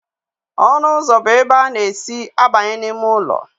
Ọnụ ụzọ bụ ebe a na-esi abanye n'ime ụlọ.